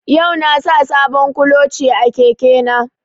Yau na sa sabon kuloce a keke na